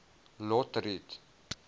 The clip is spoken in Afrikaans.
lotriet